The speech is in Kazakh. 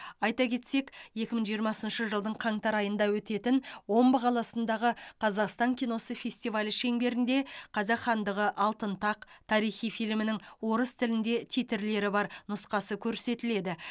айта кетсек екі мың жиырмасыншы жылдың қаңтар айында өтетін омбы қаласындағы қазақстан киносы фестивалі шеңберінде қазақ хандығы алтын тақ тарихи фильмінің орыс тілінде титрлері бар нұсқасы көрсетіледі